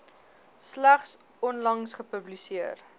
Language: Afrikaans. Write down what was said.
slegs onlangs gepubliseer